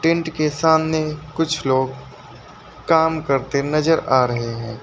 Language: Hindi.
टेंट के सामने कुछ लोग काम करते नजर आ रहे हैं।